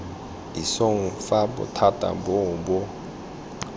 isong fa bothati boo bo